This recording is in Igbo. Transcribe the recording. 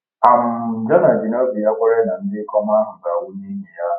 um Jona ji n’obi ya kwere na ndị ikom ahụ ga-anwụ n’ihi ya!